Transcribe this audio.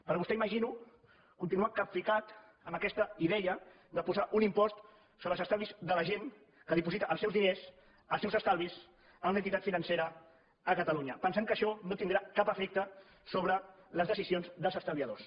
però vostè ho imagino continua capficat amb aquesta idea de posar un impost sobre els estalvis de la gent que diposita els seus diners els seus estalvis a una entitat financera a catalunya pensant que això no tindrà cap efecte sobre les decisions dels estalviadors